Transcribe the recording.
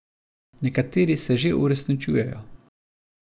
Nekateri se že uresničujejo.